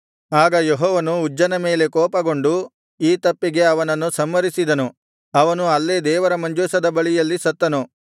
ಆಗ ಯೆಹೋವನು ಉಜ್ಜನ ಮೇಲೆ ಕೋಪಗೊಂಡು ಈ ತಪ್ಪಿಗೆ ಅವನನ್ನು ಸಂಹರಿಸಿದನು ಅವನು ಅಲ್ಲೇ ದೇವರ ಮಂಜೂಷದ ಬಳಿಯಲ್ಲಿ ಸತ್ತನು